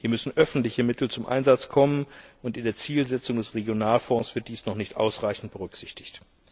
Hier müssen öffentliche Mittel zum Einsatz kommen, und in der Zielsetzung des Regionalfonds wird dies noch nicht ausreichend berücksichtigt.